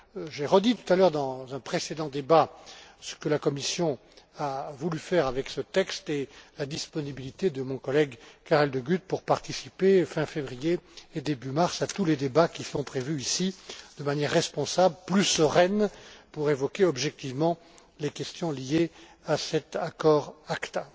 J'ai redit tout à l'heure dans un précédent débat ce que la Commission a voulu faire avec ce texte et j'ai confirmé la disponibilité de mon collègue Karel De Gucht pour participer fin février et début mars à tous les débats qui sont prévus ici de manière responsable, plus sereine, pour évoquer objectivement les questions liées à cet accord ACTA.